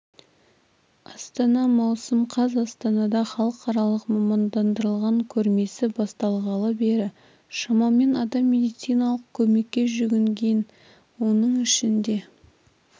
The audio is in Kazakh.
астана маусым қаз астанада халықаралық мамандандырылған көрмесі басталғалы бері шамамен адам медициналық көмекке жүгінген оның ішінде